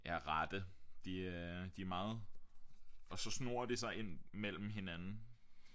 Ja rette de øh de er meget og så snor det sig ind mellem hinanden